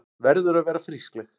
Verður að vera frískleg.